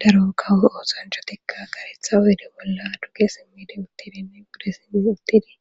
daro kawo oosanchotikka garetha oyde bolla duge simmide uttidinne bude simi uttidi